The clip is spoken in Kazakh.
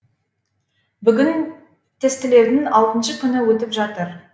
бүгін тестілеудің алтыншы күні өтіп жатыр